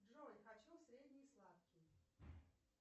джой хочу средний сладкий